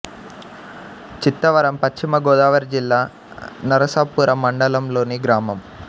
చిత్తవరం పశ్చిమ గోదావరి జిల్లా నరసాపురం మండలం లోని గ్రామం